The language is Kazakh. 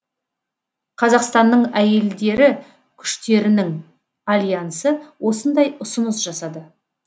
қазақстанның әйелдері күштерінің альянсы осындай ұсыныс жасады